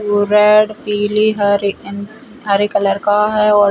और रेड पिली हरी एंड हरे कलर का है।